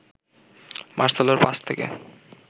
মার্সেলোর pass থেকে